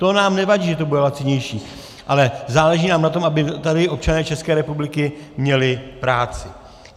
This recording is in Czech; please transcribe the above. To nám nevadí, že to bude lacinější, ale záleží nám na tom, aby tady občané České republiky měli práci.